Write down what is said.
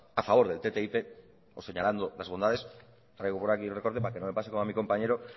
a favor del ttip o señalando las bondades traigo por aquí un recorte para que no me pase como a mi compañero